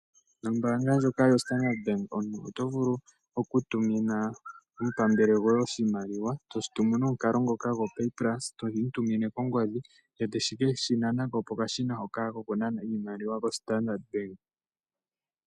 Ombaanga ndjoka yoStandard Bank omuntu oto vulu okutumina omupambele gwoye oshimaliwa pomukalo gopay pulse, toshi tumine kongodhi e te ke shi nana ko pokashina hoka kokunana iimaliwa yoStandard Bank.